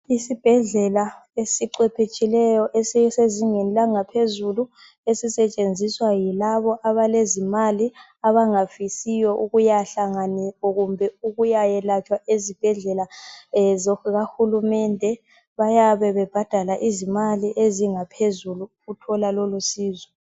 Isibhedlela esicwepheshileyo esisezingeni langaphezulu esisetshenziswa yilabo abalezimali abangafisiyo ukuya yelatshwa ezibhedlela zikahulumende bayabe bebhadala izimali ezingaphezulu ukuthola lolu ncedo.